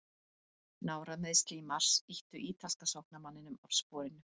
Nárameiðsli í mars ýttu ítalska sóknarmanninum af sporinu.